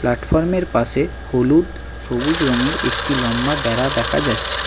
প্ল্যাটফর্মের পাশে হলুদ সবুজ রঙের একটি লম্বা বেড়া দেখা যাচ্ছে।